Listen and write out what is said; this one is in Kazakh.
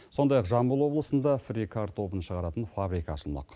сондай ақ жамбыл облысында фри картобын шығаратын фабрика ашылмақ